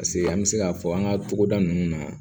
Paseke an bɛ se k'a fɔ an ka togoda nunnu na